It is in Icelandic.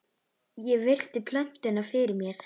Ég virti plötuna fyrir mér.